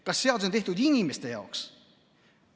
Kas seadus on tehtud inimeste jaoks?